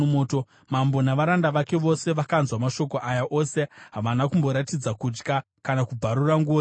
Mambo navaranda vake vose vakanzwa mashoko aya ose havana kumboratidza kutya, kana kubvarura nguo dzavo.